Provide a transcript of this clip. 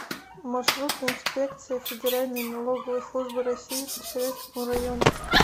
маршрут инспекция федеральной налоговой службы россии по советскому району